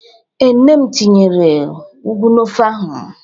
Ee, nne m tinyere ụgwụ n'ofe ahụ.